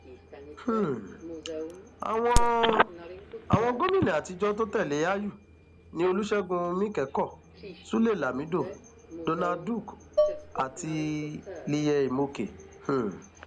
um àwọn àwọn gómìnà àtijọ tó tẹlé àyù ni olùṣègùn míkẹkọ sulé lámido donald duke àti liyel imoke um